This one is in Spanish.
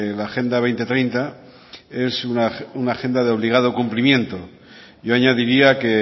la agenda dos mil treinta es una agenda de obligado cumplimiento yo añadiría que